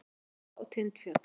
Katla og Tindfjöll.